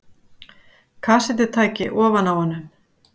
Kassettutæki ofan á honum.